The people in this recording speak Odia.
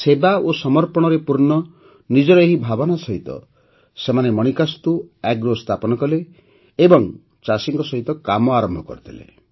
ସେବା ଓ ସମର୍ପଣରେ ପୂର୍ଣ୍ଣ ନିଜର ଏହି ଭାବନା ସହିତ ସେମାନେ ମାଣିକାସ୍ତୁ ଏଗ୍ରୋ ସ୍ଥାପନ କଲେ ଏବଂ ଚାଷୀଙ୍କ ସହିତ କାମ ଆରମ୍ଭ କରିଦେଲେ